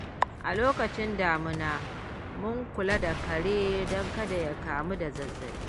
A lokacin damina, mun kula da kare don kada ya kamu da zazzaɓi.